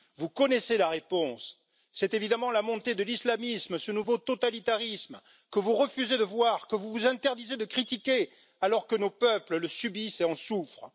Vous connaissez la réponse c'est évidemment la montée de l'islamisme, ce nouveau totalitarisme que vous refusez de voir, que vous vous interdisez de critiquer, alors que nos peuples le subissent et en souffrent.